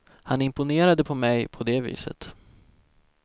Han imponerade på mig på det viset.